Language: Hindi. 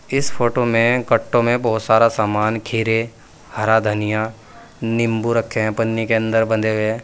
इस फोटो में कट्टों में बहोत सारा सामान खीरे हरा धनिया नींबू रखे हैं पन्नी के अंदर बंधे हुए।